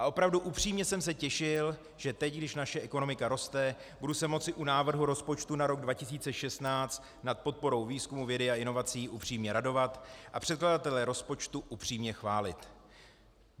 A opravdu upřímně jsem se těšil, že teď, když naše ekonomika roste, budu se moci u návrhu rozpočtu na rok 2016 nad podporou výzkumu, vědy a inovací upřímně radovat a překladatele rozpočtu upřímně chválit.